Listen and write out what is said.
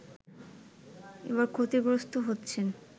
এবার ক্ষতিগ্রস্ত হচ্ছেন